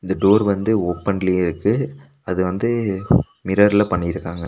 இந்த டோர் வந்து ஓபன்லியே இருக்கு அது வந்து மிர்ரர்ல பண்ணிருக்காங்க.